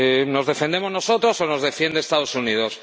¿Nos defendemos nosotros o nos defienden los Estados Unidos?